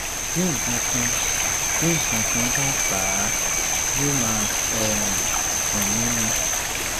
bí nǹkankan bí nǹkankan bá bà á yóò máa um dùn mí ni